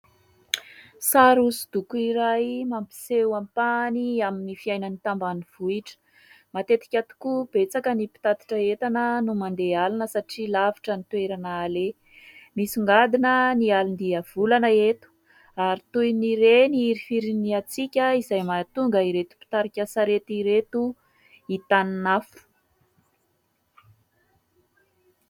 Sary hosodoko iray mampiseho ampahany amin'ny fiainan'ny tambanivohitra. Matetika tokoa betsaka ny mpitatitra entana no mandeha alina satria lavitra ny toerana aleha. Misongadina ny alin-diavolana eto ary toy ny re ny hirifirin'ny hatsiaka izay mahatonga ireto mpitarika sarety ireto hitanin'afo.